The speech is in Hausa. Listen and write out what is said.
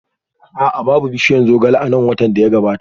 A'a, babu bishiyar zogale a nan watan da ya gabata